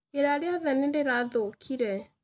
Iria rĩothe nĩ rĩrathũkire.